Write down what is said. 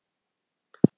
Hver er næsta sögn?